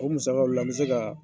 O musakaw la an bɛ ka.